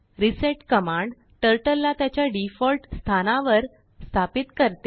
resetकमांडTurtleला त्याच्या डिफॉल्ट स्थानावर वर स्थापित करते